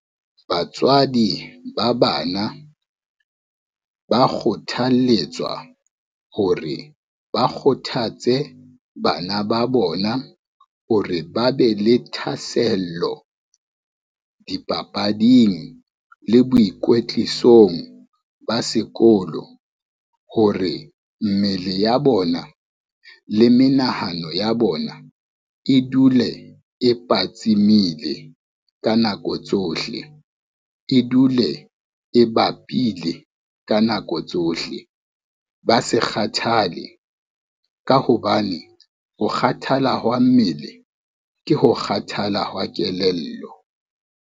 Batswadi ba bana, ba kgothaletswa hore ba kgothatse bana ba bona hore ba be le thahasello dipapading le boikwetlisong ba sekolo. Hore mmele ya bona le menahano ya bona e dule e patsimile ka nako tsohle, e dule e bapile ka nako tsohle, ba se kgathale ka hobane ho kgathala hwa mmele ke ho kgathala hwa kelello.